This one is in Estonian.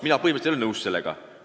Mina põhimõtteliselt ei ole sellega nõus.